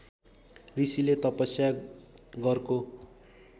ऋषिले तपस्या गरको